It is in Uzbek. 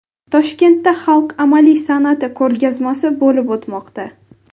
Toshkentda xalq amaliy san’ati ko‘rgazmasi bo‘lib o‘tmoqda.